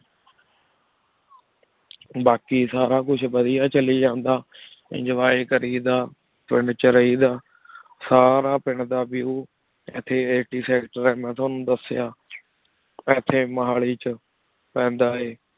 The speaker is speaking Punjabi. ਬਾਕ਼ੀ ਸਾਰਾ ਕੁਛ ਵਾਦਿਯ ਚਲੀ ਜਾਂਦਾ enjoy ਕਰੀ ਦਾ ਪਿੰਡ ਵਿਚ ਰਹੀ ਦਾ ਸਾਰਾ ਪਿੰਡ ਦਾ View ਇਥੀ ATSector ਇਥੀ ਮਹਲੀ ਵਿਚ ਪੀਂਦਾ ਆਯ